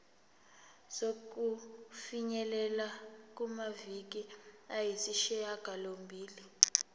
sokufinyelela kumaviki ayisishagalombili